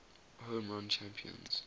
home run champions